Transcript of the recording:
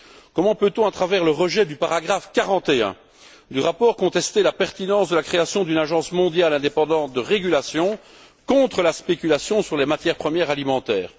Comment peut on, à travers le rejet du paragraphe 41 du rapport, contester la pertinence de la création d'une agence mondiale indépendante de régulation contre la spéculation sur les matières premières alimentaires?